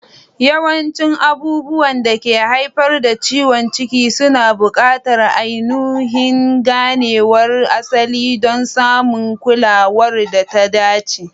Yawancin abubuwan da ke haifar da ciwon ciki suna buƙatar ainihin ganewar asali don samun kulawar da ta dace.